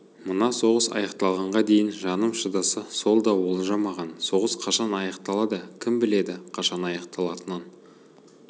мына соғыс аяқталғанға дейін жаным шыдаса сол да олжа маған соғыс қашан аяқталады кім біледі қашан аяқталатынын